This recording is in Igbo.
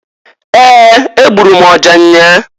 Ee! Egburu m ọja nnyaa.